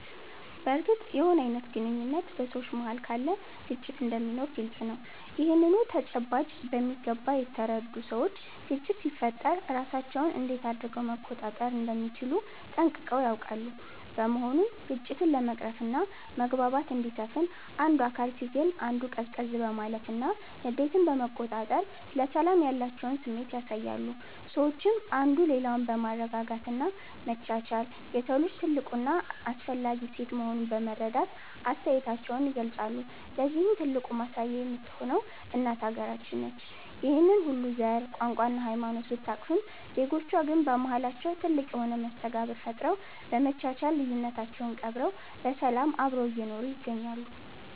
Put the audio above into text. በርግጥም የሆነ አይነት ግንኙነት በ ሰዎች መሃል ካለ ግጭት እንደሚኖር ግልፅ ነው። ይህንኑ ተጨባጭ በሚገባ የተረዱ ሰዎች ግጭት ሲፈጠር ራሳቸውን እንዴት አድረገው መቆጣጠር እንደሚችሉ ጠንቅቀው ያውቃሉ። በመሆኑም ግጭትን ለመቅረፍና መግባባት እንዲሰፍን አንዱ አካል ሲግል አንዱ ቀዝቀዝ በማለትና ንዴትን በመቆጣጠር ለሰላም ያላቸውን ስሜት ያሳያሉ። ሰዎችም አንዱ ሌላውን በማረጋጋት እና መቻቻል የሰው ልጅ ትልቁ እና አስፈላጊ እሴት መሆኑን በማስረዳት አስተያየታቸውን ይገልፃሉ። ለዚህም ትልቁ ማሳያ የምትሆነው እናት ሃገራችን ነች። ይህንን ሁሉ ዘር፣ ቋንቋ እና ሃይማኖት ብታቅፍም ዜጎቿ ግን በማሃላቸው ትልቅ የሆነ መስተጋብር ፈጥረው፤ በመቻቻል ልዩነታቸውን ቀብረው በሰላም አብረው እየኖሩ ይገኛሉ።